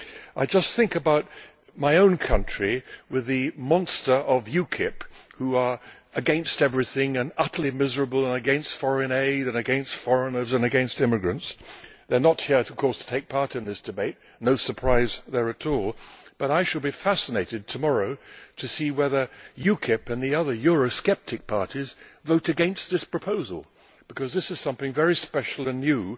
I just think about my own country with the monster of UKIP which is against everything, is utterly miserable and against foreign aid and against foreigners and against immigrants. They are not here, of course, to take part in this debate no surprise there at all but I shall be fascinated tomorrow to see whether UKIP and the other Eurosceptic parties vote against this proposal, because this is something very special and new,